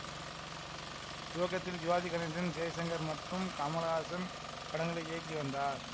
துவக்கத்தில் சிவாஜி கணேசன் ஜெய்சங்கர் மற்றும் கமலஹாசன் படங்களை இயக்கி வந்தார்